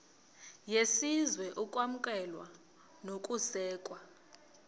yesizwe ukwamkelwa nokusekwa